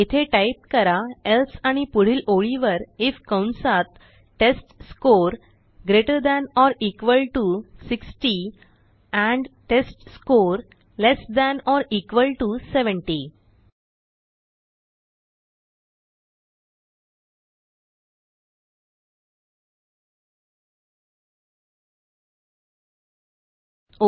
येथे टाईप करा एल्से आणि पुढील ओळीवर आयएफ कंसात test score greater than or equal to 60 and test score less than or equal to 70